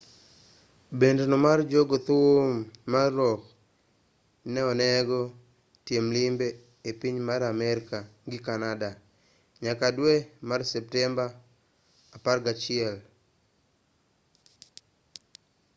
bend no mar jo go thum mar rock ne onego tim limbe e piny mar amerka gi canada nyaka dwe mar septemba 16